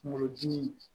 Kungolo dimi